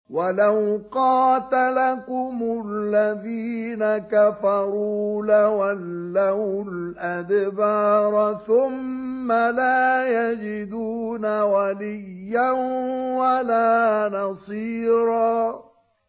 وَلَوْ قَاتَلَكُمُ الَّذِينَ كَفَرُوا لَوَلَّوُا الْأَدْبَارَ ثُمَّ لَا يَجِدُونَ وَلِيًّا وَلَا نَصِيرًا